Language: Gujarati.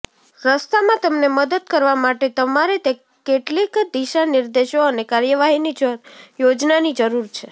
રસ્તામાં તમને મદદ કરવા માટે તમારે કેટલીક દિશાનિર્દેશો અને કાર્યવાહીની યોજનાની જરૂર છે